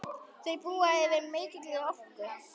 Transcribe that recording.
Þau búa yfir mikilli orku.